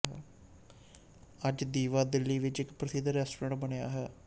ਅੱਜ ਦੀਵਾ ਦਿੱਲੀ ਵਿੱਚ ਇੱਕ ਪ੍ਰਸਿੱਧ ਰੈਸਟੋਰੈਂਟ ਬਣਿਆ ਹੋਇਆ ਹੈ